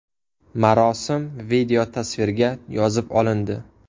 Marosim videotasvirga yozib olindi.